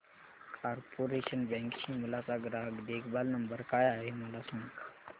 corporation Bank Shimla चा ग्राहक देखभाल नंबर काय आहे मला सांग